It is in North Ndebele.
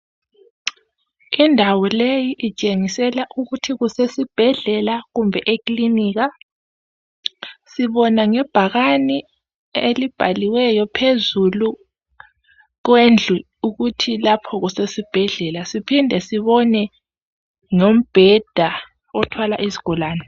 Indawo leyi itshengisela ukuthi kusesibhedlela kumbe ekilinika sibona ngebhakani elibhaliweyo phezulu kwendlu ukuthi lapho kusesibhedlela siphinde sibona ngombheda othwala izigulani